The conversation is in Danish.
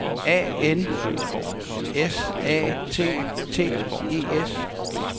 A N S A T T E S